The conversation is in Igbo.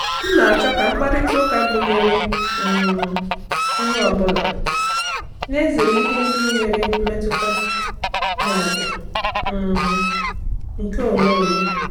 M na-achọ ka mkparịta ụka gụnyere um onye ọ bụla, na-ezere ihe ndị nwere mmetụta ma ọ bụ um nke onwe onye.